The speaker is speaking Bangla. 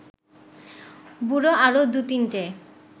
বুড়ো আরও দু’তিনটে